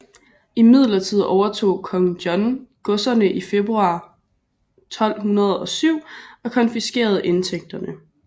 Imidlertid overtog Kong John godserne i februar 1207 og konfiskerede indtægterne